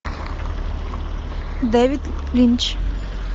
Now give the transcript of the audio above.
дэвид линч